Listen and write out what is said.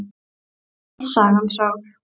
Öll sagan sögð